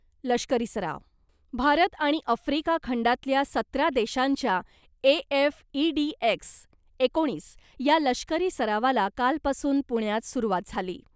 लष्करी सराव, भारत आणि अफ्रिका खंडातल्या सतरा देशांच्या A F index एकोणीस या लष्करी सरावाला कालपासून पुण्यात सुरवात झाली .